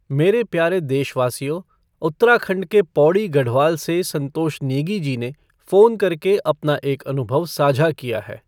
मेरे प्यारे देशवासियो, उत्तराखण्ड के पौड़ी गढ़वाल से संतोष नेगी जी ने फ़ोन करके अपना एक अनुभव साझा किया है।